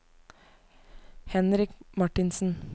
Henrik Marthinsen